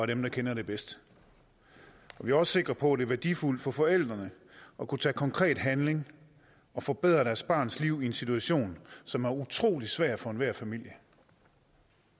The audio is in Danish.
dem der kender det bedst vi er også sikre på at det er værdifuldt for forældrene at kunne tage konkret handling og forbedre deres barns liv i en situation som er utrolig svær for enhver familie